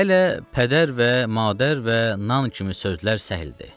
Hələ pədər və madər və nan kimi sözlər səhl idi.